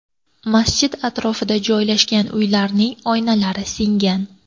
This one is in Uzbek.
Masjid atrofida joylashgan uylarning oynalari singan.